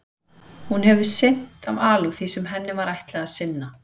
Hún hefur sinnt af alúð því sem henni var ætlað að sinna.